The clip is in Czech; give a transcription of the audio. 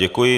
Děkuji.